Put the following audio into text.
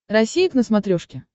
россия к на смотрешке